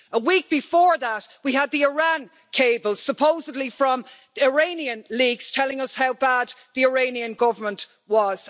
A week before that, we had the Iran cables supposedly from Iranian leaks telling us how bad the Iranian Government was.